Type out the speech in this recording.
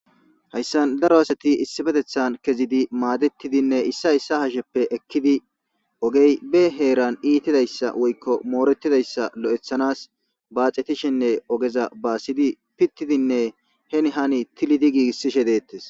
hayssan daro asati issifetethan kezidi maadetidinne issa issa hasheppe ekkidi ogey be heeran iitidayssa woykko mooretidayssa lo7ethanas baaxetishenne ogeza baassidi pittidinne hen hani tilidi giigissishe deettes